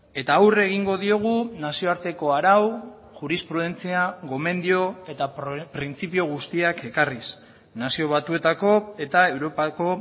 eta aurre egingo diogu nazioarteko arau jurisprudentzia gomendio eta printzipio guztiak ekarriz nazio batuetako eta europako